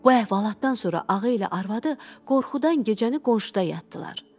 Bu əhvalatdan sonra ağa ilə arvadı qorxudan gecəni qonşuda yatdılar.